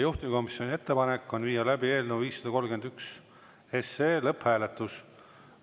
Juhtivkomisjoni ettepanek on viia läbi eelnõu 531 lõpphääletus.